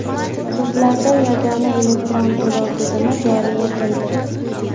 Sudlarda yagona elektron to‘lov tizimi joriy etildi.